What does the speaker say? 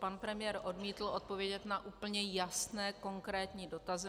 Pan premiér odmítl odpovědět na úplně jasné, konkrétní dotazy.